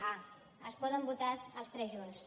a es poden votar els tres junts